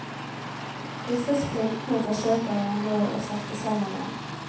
Disse splintene forsøker jeg nå å sette sammen igjen.